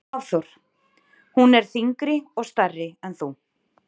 Hafþór: Hún er þyngri og stærri en þú?